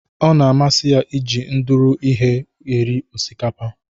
O na-amasị ya iji ndụrụ ihe eri osikapa.